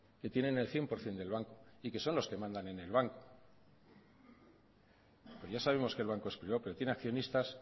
y tienen el cien por ciento del banco y que son los que mandan en el banco que ya sabemos que el banco es privado pero tienen accionistas